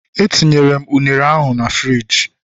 Etinyere m ụnere na friji